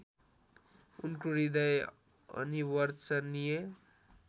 उनको हृदय अनिवर्चनीय